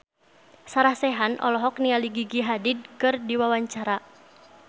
Sarah Sechan olohok ningali Gigi Hadid keur diwawancara